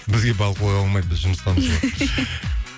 бізге балқуға болмайды біз жұмыстамыз ғой